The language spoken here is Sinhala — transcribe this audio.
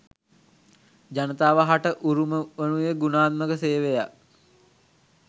ජනතාව හට උරුම වනුයේ ගුණාත්මක සේවයක්